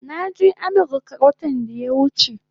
Naje Amirka watan daya wuche